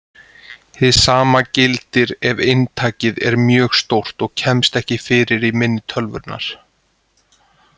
Hið sama gildir ef inntakið er mjög stórt og kemst ekki fyrir í minni tölvunnar.